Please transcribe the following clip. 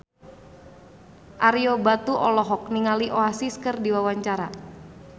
Ario Batu olohok ningali Oasis keur diwawancara